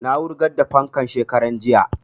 Na wurgar da fankan shekaran jiya